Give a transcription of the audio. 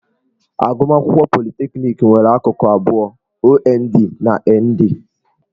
Agụmakwụkwọ politekniki nwere akụkụ abụọ - OND na ND.